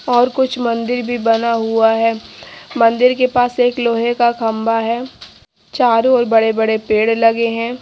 और कुछ मंदिर भी बना हुआ है मन्दिर के पास एक लोहे का खम्बा है चारो और बड़े बड़े पेड़ लगे है।